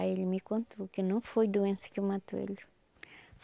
Aí ele me contou que não foi doença que matou ele.